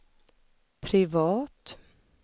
privat